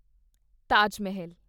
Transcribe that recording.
ਤਾਜ ਮਾਹਲ